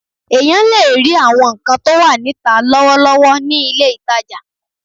Èèyàn lè rí àwọn nǹkan tó wà níta lọ́wọ́lọ́wọ́ ní ilé-ìtajà